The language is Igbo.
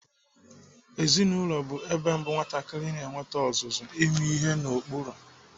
Ezinaụlọ bụ ebe mbụ nwatakịrị na-enwete ọzụzụ ime ihe n'ụkpụrụ.